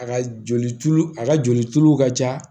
A ka joli tulu a ka joli tulu ka ca